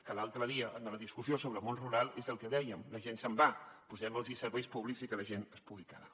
que l’altre dia a la discussió sobre el món rural és el que dèiem la gent se’n va posem los serveis públics i que la gent es pugui quedar